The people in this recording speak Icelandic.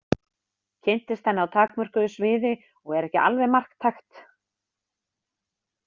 Kynntist henni á takmörkuðu sviði og er ekki alveg marktækt.